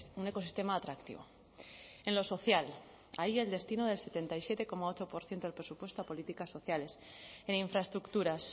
un ecosistema atractivo en lo social ahí el destino del setenta y siete coma ocho por ciento del presupuesto a políticas sociales en infraestructuras